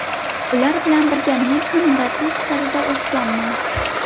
Ular bilan birga men ham murabbiy sifatida o‘sganman”.